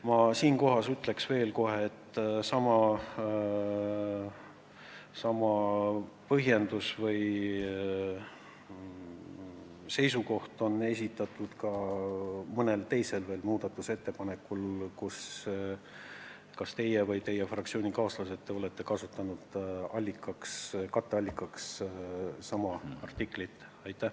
Ütlen siinkohal juba ette, et sama põhjendus on esitatud ning eitav seisukoht võetud ka mõne teise muudatusettepaneku puhul, kus kas olete teie või on teie fraktsioonikaaslased katteallikaks pakkunud sama artiklit.